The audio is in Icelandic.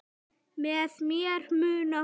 Með mér mun hún vaka.